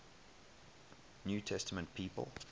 new testament people